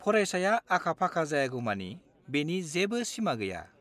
फरायसाया आखा-फाखा जायागौमानि बेनि जेबो सिमा गैया।